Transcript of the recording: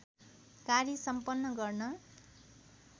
कार्य सम्पन्न गर्न